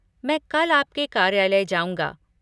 मैं कल आपके कार्यालय जाउँगा।